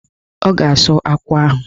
Ọ ga-asụ akwụ ahụ.